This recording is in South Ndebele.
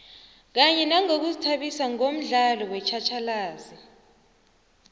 kanye nangokuzithabisa ngomdlalo wetjhatjhalazi